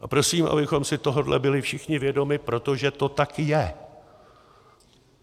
A prosím, abychom si tohohle byli všichni vědomi, protože to tak je.